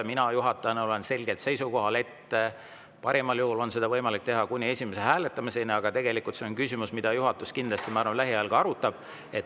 Mina juhatajana olen selgelt seisukohal, et parimal juhul on seda võimalik teha kuni esimese hääletamiseni, aga tegelikult see on küsimus, mida, ma arvan, juhatus kindlasti lähiajal arutab.